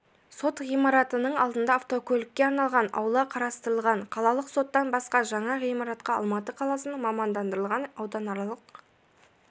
сот ғимаратының алдында автокөлікке арналған аула қарастырылған қалалық соттан басқа жаңа ғимаратқа алматы қаласының мамандандырылған ауданаралық